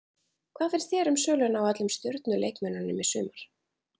Hvað finnst þér um söluna á öllum stjörnu leikmönnunum í sumar?